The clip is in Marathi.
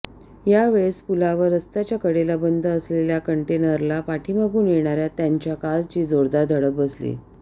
यावेळेस पुलावर रस्त्याच्या कडेला बंद असलेल्या कंटेनरला पाठीमागून येणाऱ्या त्यांच्या कारची जोरदार धडक बसली